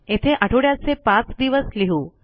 येथे आठवड्याचे पाच दिवस लिहू